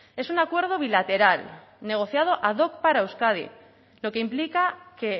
es un acuerdo bilateral negociado ad hoc para euskadi lo que implica que